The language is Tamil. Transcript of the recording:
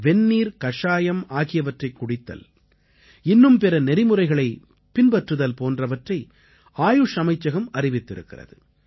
வெந்நீர் கஷாயம் ஆகியவற்றைக் குடித்தல் இன்னும் பிற நெறிமுறைகளைப் பின்பற்றுதல் போன்றவற்றை ஆயுஷ் அமைச்சகம் அறிவித்திருக்கிறது